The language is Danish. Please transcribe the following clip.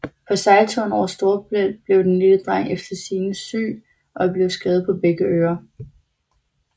På sejlturen over Storebælt blev den lille dreng efter sigende syg og blev skadet på begge ører